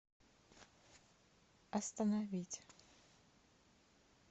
остановить